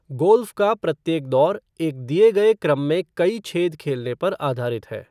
Golf का प्रत्येक दौर एक दिए गए क्रम में कई छेद खेलने पर आधारित है।